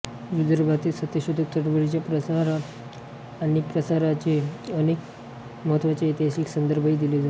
विदर्भातील सत्यशोधक चळवळीच्या प्रचार आणि प्रसाराचे अनेक महत्त्वाचे ऐतिहासिक संदर्भही दिले आहेत